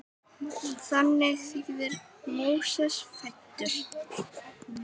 Þannig þýðir Móses fæddur.